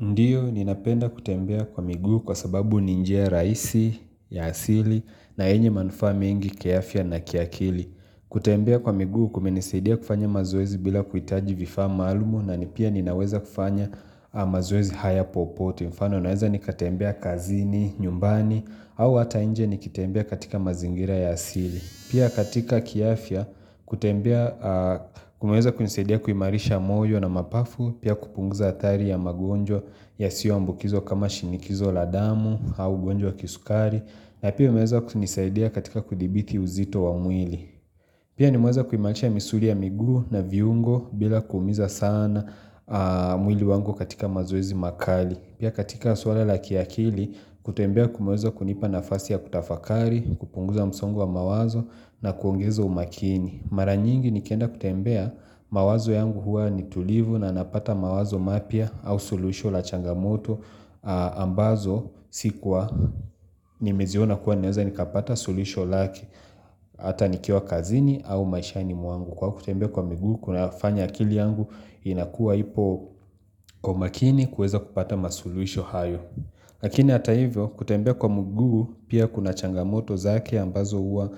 Ndiyo, ninapenda kutembea kwa miguu kwa sababu ni njia rahisi, ya asili, na yenye manufaa mengi, kiafya na kiakili. Kutembea kwa miguu kumenisidia kufanya mazoezi bila kuitaji vifaa maalumu na nipia ninaweza kufanya mazoezi haya popoto. Mfano, naweza nikatembea kazini, nyumbani, au hata nje nikitembea katika mazingira ya asili. Pia katika kiafya kutembea kumeweza kunisaidia kuimarisha mojo na mapafu Pia kupunguza hatari ya magonjo yasiyo ambukizwa kama shinikizo la damu au ugonjwa wa kisukari na pia umeweza kunisaidia katika kudhibiti uzito wa mwili Pia nimeweza kuimarisha misuri ya miguu na viungo bila kuumiza sana mwili wangu katika mazoezi makali Pia katika swala la kiakili kutembea kumeweza kunipa nafasi ya kutafakari kupunguza msongo wa mawazo na kuongeza umakini Mara nyingi nikienda kutembea mawazo yangu hua nitulivu na napata mawazo mapya au suluhisho la changamoto ambazo sikuwa ni meziona kuwa naweza nikapata suluhisho lake Hata nikiwa kazini au maishani mwangu kuwa kutembea kwa miguu kunafanya akili yangu inakuwa ipo umakini kueza kupata masuluhisho hayo Lakini hata hivyo kutembea kwa mguu pia kuna changamoto zake ambazo huwa